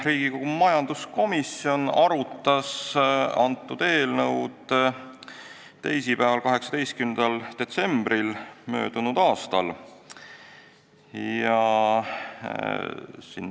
Riigikogu majanduskomisjon arutas antud eelnõu teisipäeval, 18. detsembril möödunud aastal.